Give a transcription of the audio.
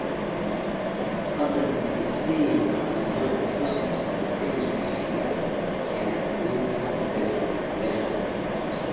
fadlan i sii macluumaad ku saabsan filimka xiga ee nick denda